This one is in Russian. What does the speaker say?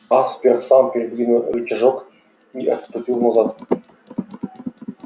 аспер сам передвинул рычажок и отступил назад